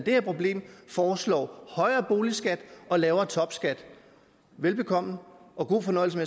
her problem foreslår højere boligskat og lavere topskat velbekomme og god fornøjelse